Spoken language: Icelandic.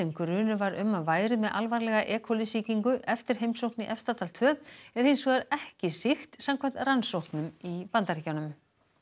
grunur var um að væri með alvarlega e coli sýkingu eftir heimsókn í Efstadal tveggja er hins vegar ekki sýkt samkvæmt rannsóknum í Bandaríkjunum